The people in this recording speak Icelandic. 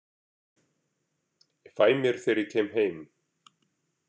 Ég fæ mér þegar ég kem heim!